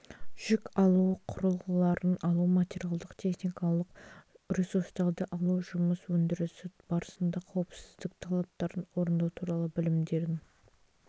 жүк алу құрылғыларын алу материалдық техникалық ресурстарды алу жұмыс өндірісі барысында қауіпсіздік талаптарын орындау туралы білімдерін